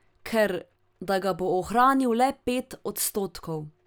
Ker, da ga bo ohranil le pet odstotkov.